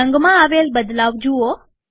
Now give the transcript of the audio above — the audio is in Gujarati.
રંગમાં આવેલ બદલાવ જુઓ